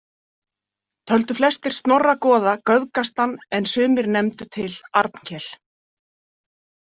Töldu flestir Snorra goða göfgastan en sumir nefndu til Arnkel.